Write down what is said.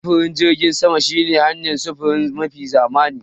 Sufurin jirgin sama shine hanayar sufuri mafi zamani.